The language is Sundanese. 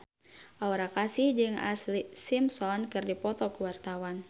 Aura Kasih jeung Ashlee Simpson keur dipoto ku wartawan